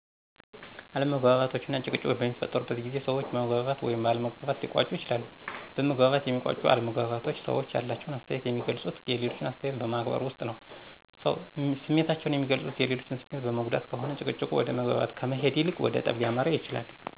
አለመግባባቶች እና ጭቅጭቆች በሚፈጠሩ ጊዜ ሰዎች በመግባባት ወይም ባለ መግባባት ሊቋጩ ይችላሉ። በመግባባት የሚቋጩ አለመግባባቶች ሰዎች ያላቸውን አስተያየት የሚገልፁት የሌሎችን አስተያየት በማክበር ውስጥ ነው። ስሜታቸውን የሚገልፁት የሌሎችን ስሜት በመጉዳት ከሆነ ጭቅጭቁ ወደ መግባባት ከመሄድ ይልቅ ወደ ጠብ ሊያመራ ይችላል።